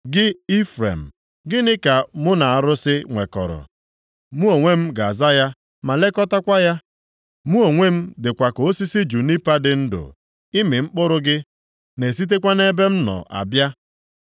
Gị Ifrem, gịnị ka mụ na arụsị nwekọrọ? Mụ onwe m ga-aza ya, ma lekọtakwa ya. Mụ onwe m dịkwa ka osisi junipa dị ndụ. Ịmị mkpụrụ gị na-esitekwa nʼebe m nọ abịa.”